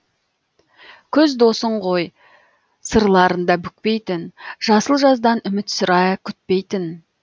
күз досың ғой сырларында бүкпейтін жасыл жаздан үміт сірә күтпейтін